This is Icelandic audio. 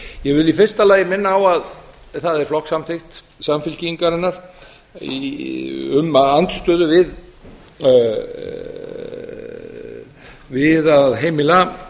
ég vil í fyrsta lagi minna á að það er flokkssamþykkt samfylkingarinnar um að andstöðu við að heimila